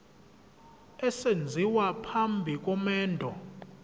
esenziwa phambi komendo